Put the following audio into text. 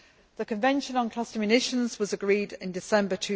The Convention on Cluster Munitions was agreed in December